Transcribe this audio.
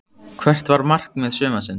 Hvert var markmið sumarsins?